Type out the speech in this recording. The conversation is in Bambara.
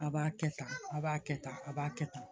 A b'a kɛ tan a b'a kɛ tan a b'a kɛ tan